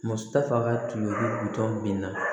Muso ta fanga tun ye ko